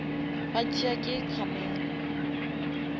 ba tšea ke camera